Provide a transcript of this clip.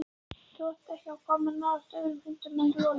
Þú átt ekki að koma nálægt öðrum hundum en Rolu.